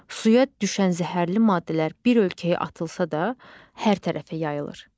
Suya düşən zəhərli maddələr bir ölkəyə atılsa da, hər tərəfə yayılır.